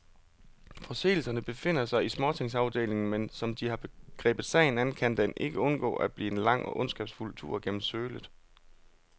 Forseelserne befinder sig i småtingsafdelingen, men som de har grebet sagen an, kan den ikke undgå at blive en lang og ondskabsfuld tur gennem sølet.